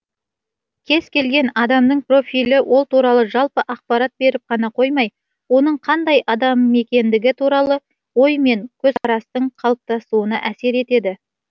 кез келген адамдың профилі ол туралы жалпы ақпарат беріп қана қоймай оның қандай адам екендігі туралы ой мен көзқарастың қалыптасуына әсер етеді